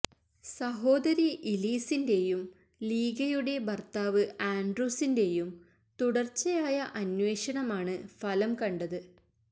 സഹോദരി ഇലീസിന്റെയും ലീഗയുടെ ഭര്ത്താവ് ആന്ഡ്രൂസിന്റെയും തുടര്ച്ചയായ അന്വേഷണമാണ് ഫലം കണ്ടത്